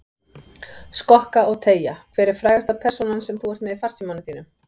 Skokka og teygja Hver er frægasta persónan sem þú ert með í farsímanum þínum?